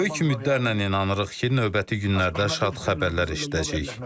Böyük ümidlərlə inanırıq ki, növbəti günlərdə şad xəbərlər eşidəcəyik.